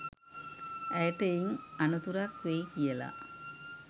ඇයට එයින් අනතුරක් වෙයි කියලා.